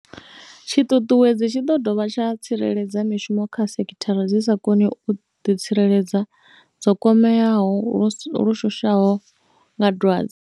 Tshiṱuṱuwedzi tshi ḓo dovha tsha tsireledza mishumo kha dzisekhithara dzi sa koniho u ḓitsireledza dzo kwameaho lu shushaho nga dwadze.